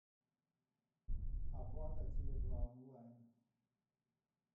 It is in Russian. оплата теле два онлайн